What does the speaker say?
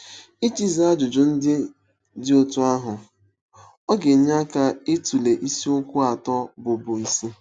Iji zaa ajụjụ ndị dị otú ahụ, ọ ga-enye aka ịtụle isiokwu atọ bụ́ bụ́ isi.